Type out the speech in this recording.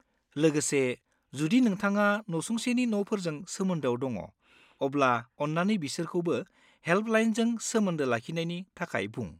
लोगोसे, जुदि नोंथाङा नसुंसेनि न'फोरजों सोमोन्दोआव दङ, अब्ला अन्नानै बिसोरखौबो हेल्पलाइनजों सोमोन्दो लाखिनायनि थाखाय बुं।